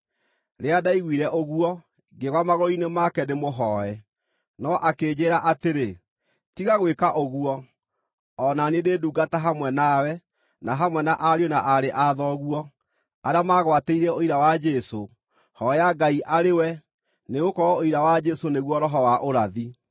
Rĩrĩa ndaiguire ũguo, ngĩgwa magũrũ-inĩ make ndĩmũhooe. No akĩnjĩĩra atĩrĩ, “Tiga gwĩka ũguo! O na niĩ ndĩ ndungata hamwe nawe, na hamwe na ariũ na aarĩ a thoguo, arĩa magwatĩirie ũira wa Jesũ. Hooya Ngai arĩ we! Nĩgũkorwo ũira wa Jesũ nĩguo roho wa ũrathi.”